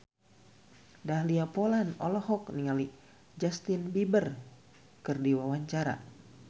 Dahlia Poland olohok ningali Justin Beiber keur diwawancara